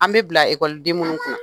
An bɛ bila ekɔliden den minnu kunna